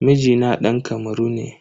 Mijina dan Kamaru ne.